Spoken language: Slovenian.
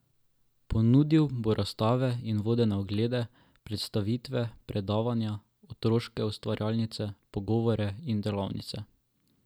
Ponudil bo razstave in vodene oglede, predstavitve, predavanja, otroške ustvarjalnice, pogovore in delavnice.